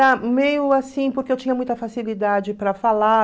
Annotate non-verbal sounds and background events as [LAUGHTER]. [UNINTELLIGIBLE] meio assim, porque eu tinha muita facilidade para falar.